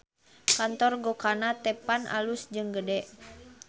Kantor Gokana Teppan alus jeung gede